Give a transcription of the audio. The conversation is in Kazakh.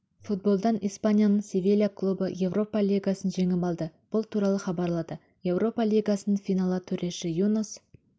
футболдан испанияның севилья клубы еуропа лигасын жеңіп алды бұл туралы хабарлады еуропа лигасының финалы төреші юнас